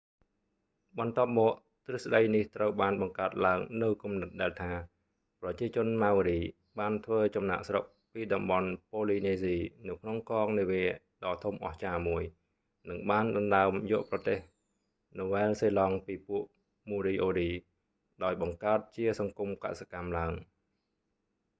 បន្ទាប់​មក ទ្រឹស្តី​នេះបាន​បង្កើត​ឡើង​នូវ​គំនិត​ដែល​ថា​ ប្រជាជន ម៉ៅរី maori បាន​ធ្វើ​ចំណាក​ស្រុក​ពី​តំបន់​ប៉ូលីនេស៊ី ​នៅក្នុងកងនាវាដ៏ធំអស្ចារ្យមួយ​ និងបាន​ដណ្ដើម​យក​ប្រទេសណូវែលសេឡង់​ពីពួកមូរីអូរី​moriori ដោយ​បង្កើត​ជាសង្គម​កសិកម្ម​ឡើង​។